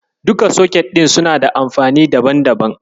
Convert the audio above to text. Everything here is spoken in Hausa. Duka soket ɗin suna da amfani daban-daban.